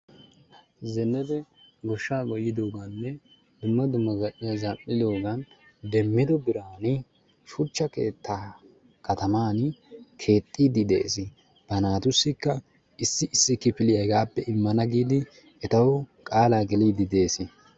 zenebe goshshaa goyidooganne dumma dumma zal'iya zal'idoogan demmidio biran shucha keettaa kataman keexxiidi de'ees, ba naatussikka issi issi kifiliya hegappe imana giidi etawu qaalaa geliidi de'ees.